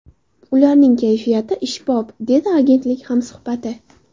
Ularning kayfiyati ishbop””, dedi agentlik hamsuhbati.